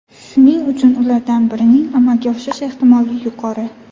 Shuning uchun ulardan birining amalga oshish ehtimoli yuqori.